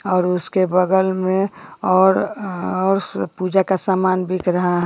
और उसके बगल में और अ और पूजा का समान बिक रहा है।